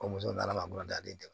Ko muso nana n ka daden